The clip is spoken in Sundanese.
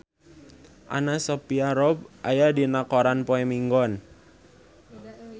Anna Sophia Robb aya dina koran poe Minggon